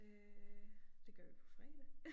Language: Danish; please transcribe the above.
Øh det gør vi på fredag